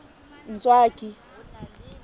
ntswaki